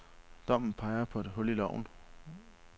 Dommen peger på et hul i loven.